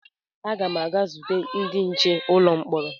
Aga m aga zute ndị nche ụlọ mkpọrọ